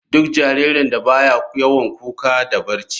Duk jaririn da baya yawan kuka da barci.